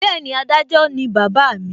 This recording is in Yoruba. Bẹ́ẹ̀ni, adájọ́ ni bàbá mi